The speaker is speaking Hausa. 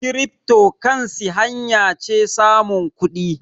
kiripto kansi hanya ce samun kudi